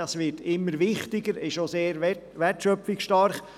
Dieser wird immer wichtiger und ist auch sehr wertschöpfungsstark.